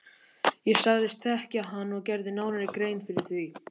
Ég sagðist þekkja hann og gerði nánari grein fyrir því.